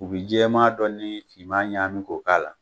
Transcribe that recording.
U bi jɛman dɔ ni fiman ɲaami k'o k'a la.